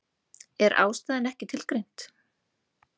Er ástæðan ekki tilgreind